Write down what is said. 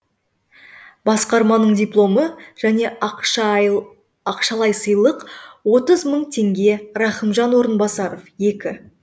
басқарманың дипломы және ақшалай сыйлық отыз мың теңге рахымжан орынбасров екі